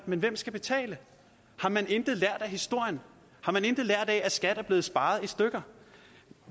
men hvem skal betale har man intet lært af historien har man intet lært af at skat er blevet sparet i stykker